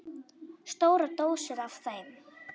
Stórar dósir af þeim.